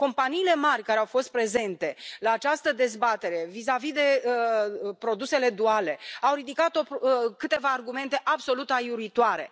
Companiile mari care au fost prezente la această dezbatere vizavi de produsele duale au ridicat câteva argumente absolut aiuritoare.